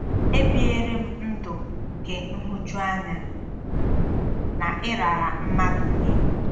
Ebiere m ndụ nke nhụjuanya na ịrara mmadụ nye.